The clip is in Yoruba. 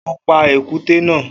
O pa èkúté na